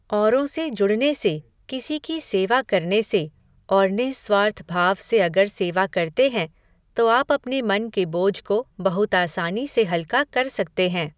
औरों से जुड़ने से, किसी की सेवा करने से, और निःस्वार्थ भाव से अगर सेवा करते हैं, तो आप अपने मन के बोझ को बहुत आसानी से हल्का कर सकते है।